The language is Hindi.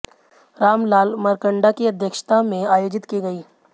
रामलाल मारकंडा की अध्यक्षता में आयोजित की गईं